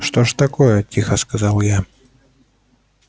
что ж такое тихо сказал я